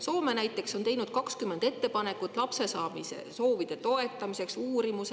Soome näiteks on teinud 20 ettepanekut lapsesaamise soovide toetamiseks ja uurimused.